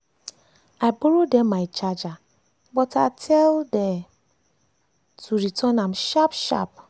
i borrow dem my charger but i tell dey dem to return am sharp sharp.